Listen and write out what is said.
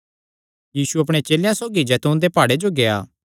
यीशु अपणे चेलेयां सौगी जैतून दे प्हाड़े जो गेआ